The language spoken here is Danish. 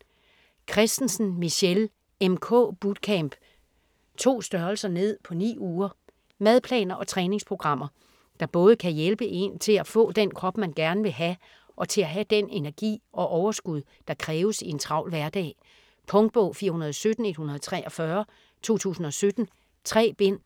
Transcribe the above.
Kristensen, Michelle: MK bootcamp: 2 str. ned på 9 uger Madplaner og træningsprogrammer der både kan hjælpe én til at få den krop man gerne vil have, og til at have den energi og overskud der kræves i en travl hverdag. Punktbog 417143 2017. 3 bind.